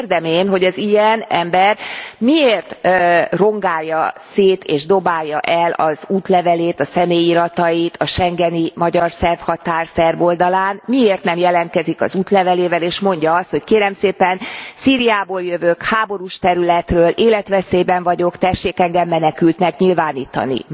Kérdem én, hogy az ilyen ember miért rongálja szét és dobálja el az útlevelét, a személyi iratait, a schengeni magyar szerb határ szerb oldalán, miért nem jelentkezik az útlevelével, és mondja azt, hogy kérem szépen, Szíriából jövök, háborús területről, életveszélyben vagyok, tessék engem menekültnek nyilvánítani.